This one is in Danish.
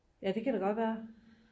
ja det kan det godt være